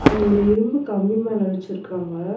அது ஒரு இரும்பு கம்பி மேல வச்சிருக்காங்க.